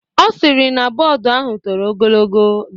Ọ sịrị na bọọdu ahụ toro ogologo.